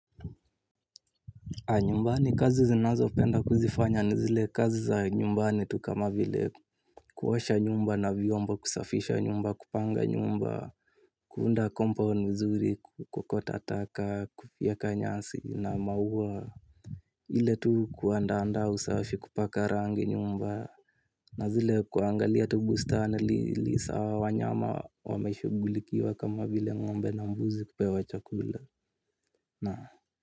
Nyumbani kazi zinazopenda kuzifanya ni zile kazi za nyumbani tu kama vile kuosha nyumba na vyombo kusafisha nyumba kupanga nyumba. Kuunda compound vizuri kuokota taka kufyeka nyasi na maua. Ile tu kuandaanda usafi kupaka rangi nyumba. Na zile kuangalia tu bustani liisa wanyama wameshugulikiwa kama vile ngombe na mbuzi kupewa chakula. Na.